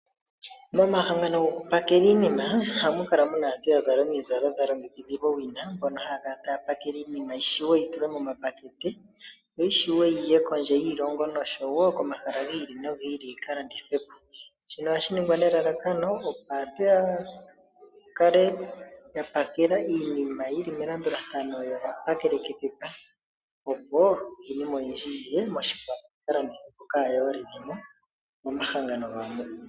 Momahangano gokupakela iinima ohamu kala muna aantu yazala omizalo dha longekidhilwa owina. Mbono haa kala taa pakele iinima yishiwe yitulwe moma pakete . Yo yishiwe yi ye kondje yiilongo noshowo komahala gi ili nogi ili.